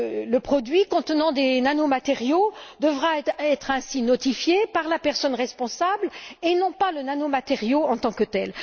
Le produit contenant des nanomatériaux devra ainsi être notifié par la personne responsable et non pas le nanomatériau en tant que tel.